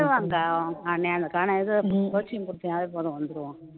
இது coaching குடுத்தீனாவே போதும் வந்துருவான்